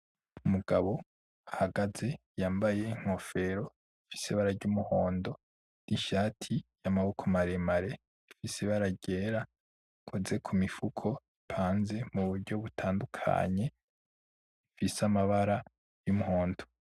Umugabo ahagaze yambaye Inkofero ifise Ibara ry'Umuhondo, n'Ishati y'Amaboko maremare ifise Ibara ryera, akoze kumifuko ipanze muburyo butandukanye ifise amabara y'umuhondo.